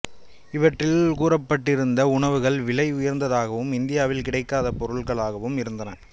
இவற்றில் கூறப்பட்டிருந்த உணவுகள் விலை உயர்ந்தாகவும் இந்தியாவில் கிடைக்காத பொருள்களாகவும் இருந்தன